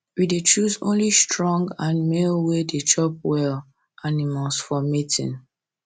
we dey choose only strong and male way dey chop well animals for mating